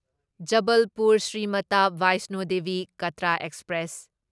Jabalpur Shri Mata Vaishno Devi Katra express